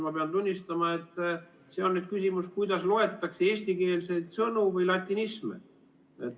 Ma pean tunnistama, et see on nüüd küsimus, kuidas loetakse eestikeelseid sõnu või latinisme.